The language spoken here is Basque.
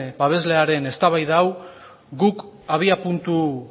babeslearen eztabaida hau guk abiapuntu